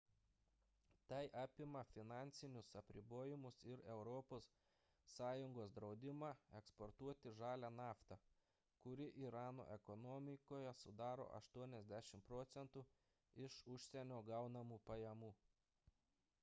tai apima finansinius apribojimus ir europos sąjungos draudimą eksportuoti žalią naftą kuri irano ekonomikoje sudaro 80 proc. iš užsienio gaunamų pajamų